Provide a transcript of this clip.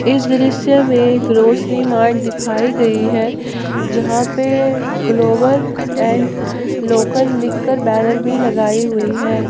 इस दृश्य में ग्रोसरी मार्ट दिखाई गई है जहां पर ग्लोबल एंड लोकल लिखकर बैनर भी लगाई हुई है।